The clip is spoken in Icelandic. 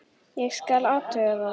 Ég skal athuga það.